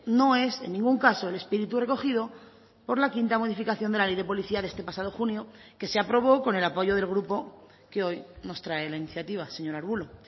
no es en ningún caso el espíritu recogido por la quinta modificación de la ley de policía de este pasado junio que se aprobó con el apoyo del grupo que hoy nos trae la iniciativa señor arbulo